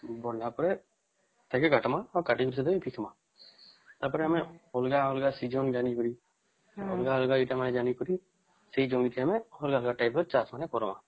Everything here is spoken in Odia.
ବଢିଲା ପରେ ଦେଖିକି କାଟମା ତାପରେ ଆମେ ଅଲଗା ଅଲଗା season ଅଲଗା ଅଲଗା ଏଇଟା ସେଇ ଜମି କାମ ଚାଷ ଆମେ କରମା